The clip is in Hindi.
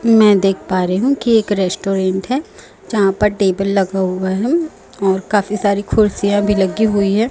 मैं देख पा रही हूं कि एक रेस्टोरेंट है जहां पर टेबल लगा हुआ है और काफी सारी खुर्सियां भी लगी हुई है।